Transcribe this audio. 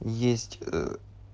есть